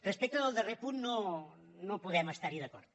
respecte del darrer punt no podem estar hi d’acord